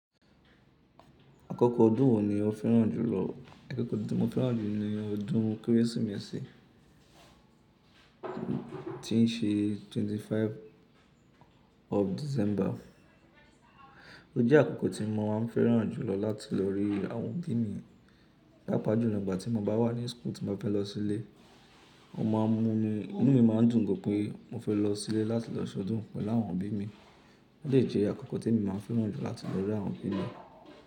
Àkókò ọdún wo ni o fẹ́ràn jùlọ? Àkókò ọdún tí mo fẹ́ràn jù ni ọdún Kérésìmesì tí ń ṣe 25 of December. O jẹ́ àkokò tí mo má ń fẹ́ràn jùlọ láti lọ rí àwọn òbí mi. Pàápàá júlọ ìgbà tí mo bá wà ní school tí mo bá fẹ́ lọ sílé, ó máa ń mú mi, inú mi máa ń dùn gan pé mo fẹ́ lọ sílé láti lọ sọdún pẹ̀lú àwọn òbí mi. Ó lè jẹ́ àkokò tí èmi máa ń fẹ́ràn jù láti lọ rí àwọn òbí mi.